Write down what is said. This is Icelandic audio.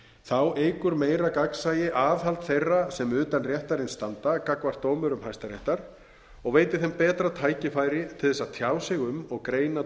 þá eykur meira gagnsæi aðhald þeirra sem utan réttarins standa gagnvart dómurum hæstaréttar og veitir þeim betra tækifæri til að tjá sig um og greina